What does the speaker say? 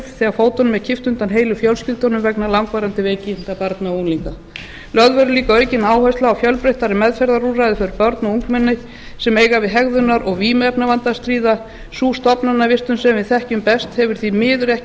þegar fótunum er kippt undan heilu fjölskyldunum vegna langvarandi veikinda barna og unglinga lögð verður líka aukin áhersla á fjölbreyttari meðferðarúrræði fyrir börn og ungmenni sem eiga við hegðunar og vímuefnavanda að stríða sú stofnanavistun sem við þekkjum best hefur því miður ekki